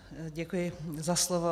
Děkuji za slovo.